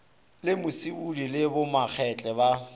le musibudi le bomakgetle ba